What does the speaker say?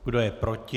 Kdo je proti?